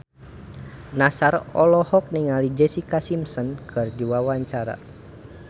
Nassar olohok ningali Jessica Simpson keur diwawancara